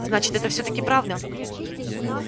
значит это всё-таки правда